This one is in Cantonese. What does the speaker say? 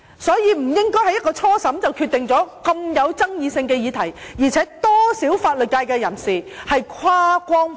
所以，不應該在初審時便就這個極具爭議性的議題作出決定，而且有多少法律界人士是跨光譜的？